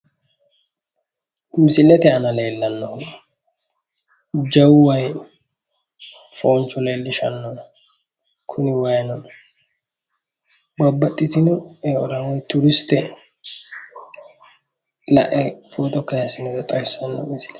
Misilete aana lellannoeri jawu wayii foonchu leellishanno. kuni waayino babbaxitino eora mangiste foto kaayiissinota leellishanno.